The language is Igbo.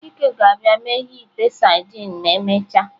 Chike ga-abia meghee ite sardines ma emechaa.